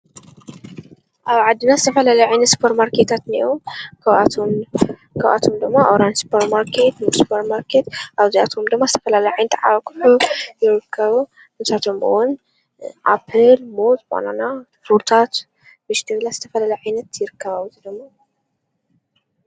ኣብ ዓድና ዝተፈላለዩ ዓይነት ሱፐርማርኬታት እኔአዉ ካብኣቶም ድማ ኣውራን ሱፐርማርኬት ሙስ ሱፐርማርኬት ኣብዝኣቶም ድማ ዝተፈላለዩ ኣቁሑ ይርከቡ ንሳቶም'ውን ኣፕል ሙዝ ባናና ፍሩታት ዝተፈላለዩ ዓይነት ይርከቡ።